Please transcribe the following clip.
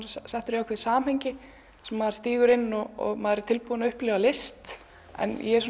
settur í ákveðið samhengi sem maður stígur inn í og maður er tilbúinn að upplifa list en ég er